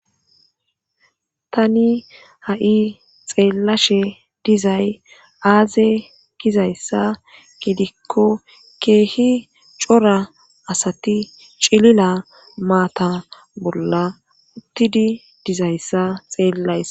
tani ha7i xeellashe dizay aaze gizayssa gidikko keehi cora asati cilila maata bolla uttidi dizayssa xeellaysa